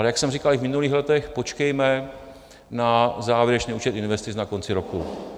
Ale jak jsem říkal i v minulých letech, počkejme na závěrečný účet investic na konci roku.